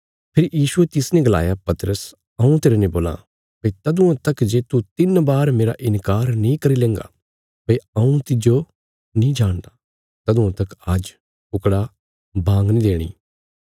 फेरी यीशुये तिसने गलाया पतरस हऊँ तेरने बोलां भई तदुआं तक जे तू तिन्न बार मेरा इन्कार नीं करी लेंगा भई हऊँ तिस्सो नीं जाणदा तदुआं तक आज्ज कुकड़ा बांग नीं देणी